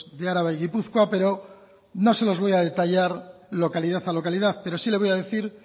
de araba y gipuzkoa pero no se los voy a detallar localidad a localidad pero sí le voy a decir